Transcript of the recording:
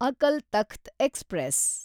Akal Takht express